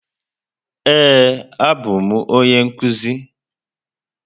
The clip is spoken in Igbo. Ee, abụ m onye nkuzi.